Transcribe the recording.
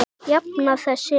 Jafna þess er